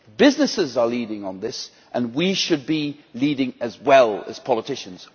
Businesses are leading on this, and we should be leading, as well, as politicians.